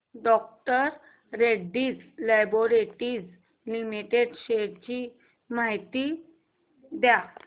डॉ Reddy's laboratories limited shares ची माहिती द्या